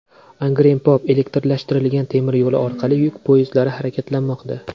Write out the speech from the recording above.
Angren-Pop elektrlashtirilgan temir yo‘li orqali yuk poyezdlari harakatlanmoqda .